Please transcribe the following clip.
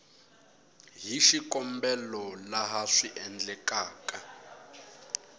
hi xikombelo laha swi endlekaka